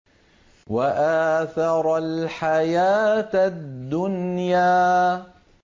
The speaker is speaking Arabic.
وَآثَرَ الْحَيَاةَ الدُّنْيَا